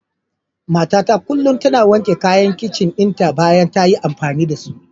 Matata kullum tana wanke kayan kicin dinta bayan ta yi amfani da su.